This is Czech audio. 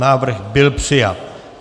Návrh byl přijat.